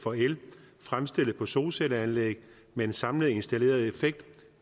for el fremstillet på solcelleanlæg med en samlet installeret effekt